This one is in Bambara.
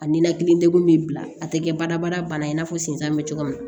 A ninakili degun bɛ bila a tɛ kɛ baarabara bana in n'a fɔ sensan bɛ cogo min na